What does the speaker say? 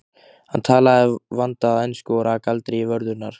Hann talaði vandaða ensku og rak aldrei í vörðurnar.